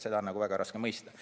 Seda on väga raske mõista.